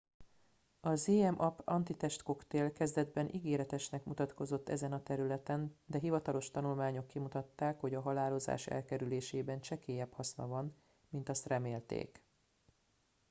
a zmapp antitestkoktél kezdetben ígéretesnek mutatkozott ezen a területen de hivatalos tanulmányok kimutatták hogy a halálozás elkerülésében csekélyebb haszna van mint azt remélték